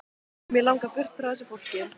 Mig langar burt frá þessu fólki.